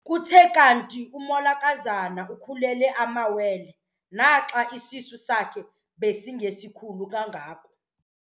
Kuthe kanti umolokazana ukhulelwe amawele naxa isisu sakhe besingesikhulu kangako.